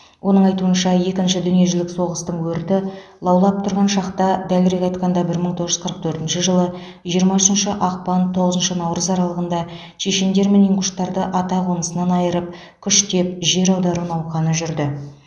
оның айтуынша екінші дүниежүзілік соғыстың өрті лаулап тұрған шақта дәлірек айтқанда бір мың тоғыз жүз қырық төртінші жылғы жиырма үшінші ақпан тоғызыншы наурыз аралығында чешендер мен ингуштарды атақонысынан айырып күштеп жер аудару науқаны жүрді